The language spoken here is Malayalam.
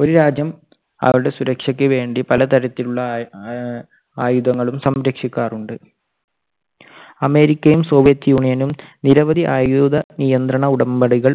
ഒരു രാജ്യം അവരുടെ സുരക്ഷയ്ക്ക് വേണ്ടി പല തരത്തിലുള്ള ആ~ ആയുധങ്ങളും സംരക്ഷിക്കാറുണ്ട്. അമേരിക്കയും സോവിയറ്റ് യൂണിയനും നിരവധി ആയുധ നിയന്ത്രണ ഉടമ്പടികൾ